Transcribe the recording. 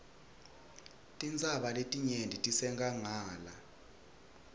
tintsaba letinengi tisenkhangala